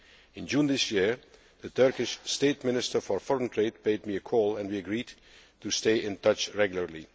In June this year, the Turkish State Minister for Foreign Trade paid me a call and we agreed to stay in touch regularly.